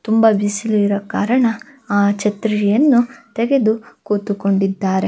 ತುಂಬಾ ಬಿಸೀಲಿರೊ ಕಾರಣ ಆ ಛತ್ರಿಯನ್ನು ತೆಗೆದು ಕೂತುಕೊಂಡಿದ್ದಾರೆ.